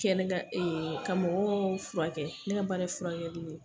Kɛnɛ kan ka mɔgɔw furakɛ, ne ka baara ye furakɛli ye.